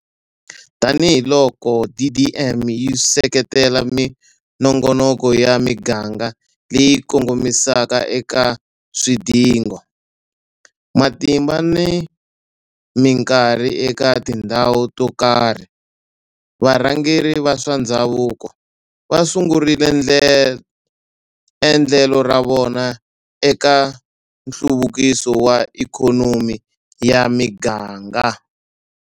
Tanihiloko DDM yi seketela minongonoko ya miganga leyi kongomisaka eka swidingo, matimba na mikarhi eka tindhawu to karhi, varhangeri va swa ndhavuko va sungurile endlelo ra vona eka nhluvukiso wa ikhonomi ya miganga.